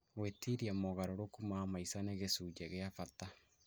Gwĩtiria mogarũrũku ma maica nĩ gĩcunjĩ gĩa bata